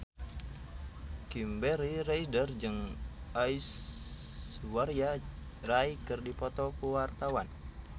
Kimberly Ryder jeung Aishwarya Rai keur dipoto ku wartawan